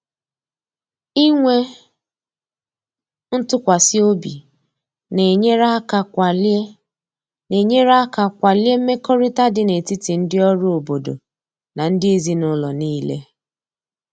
Inwe ntụkwasị obi na-enyere aka kwalie na-enyere aka kwalie mmekọrịta dị n’etiti ndị ọrụ obodo na ndị ezinụlọ niile.